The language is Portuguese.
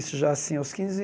Isso já assim aos quinze